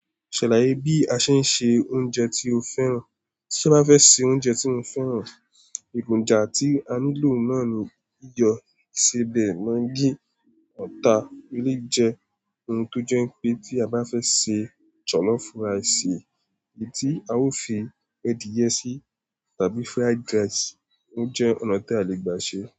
Ṣaláye, bí a ṣe ń se oúnjẹ tí o fẹ́ràn? Bí mo bá fẹ́ se oúnjẹ tí mo fẹ́ràn, èròjà ti a nílò náà ni iyọ̀, isebẹ̀, magí, ata, eléyi jẹ́ ohun tó jẹ́ pé tí a bá fẹ́ se jollof rice, èyí tí a ó fi ẹ́diye sí tàbí fried rice, oúnjẹ ọ̀nà tí a lè gbà ṣe.